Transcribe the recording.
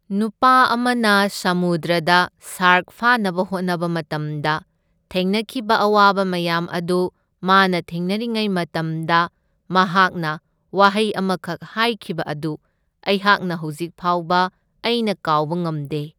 ꯅꯨꯄꯥ ꯑꯃꯅ ꯁꯃꯨꯗ꯭ꯔꯗ ꯁꯥꯔꯛ ꯐꯥꯅꯕ ꯍꯣꯠꯅꯕ ꯃꯇꯝꯗ ꯊꯦꯡꯅꯈꯤꯕ ꯑꯋꯥꯕ ꯃꯌꯥꯝ ꯑꯗꯨ ꯃꯥꯅ ꯊꯦꯡꯅꯔꯤꯉꯩ ꯃꯇꯝꯗ ꯃꯍꯥꯛꯅ ꯋꯥꯍꯩ ꯑꯃꯈꯛ ꯍꯥꯏꯈꯤꯕ ꯑꯗꯨ ꯑꯩꯍꯥꯛꯅ ꯍꯧꯖꯤꯛ ꯐꯥꯎꯕ ꯑꯩꯅ ꯀꯥꯎꯕ ꯉꯝꯗꯦ꯫